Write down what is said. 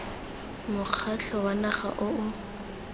mokgatlho wa naga o o